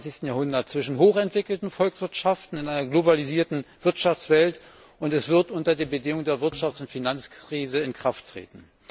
21. Jahrhunderts zwischen hochentwickelten Volkswirtschaften in einer globalisierten Wirtschaftswelt, und es wird unter der Bedingung der Wirtschafts und Finanzkrise in Kraft treten.